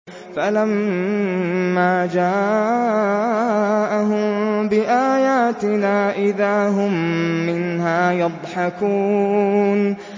فَلَمَّا جَاءَهُم بِآيَاتِنَا إِذَا هُم مِّنْهَا يَضْحَكُونَ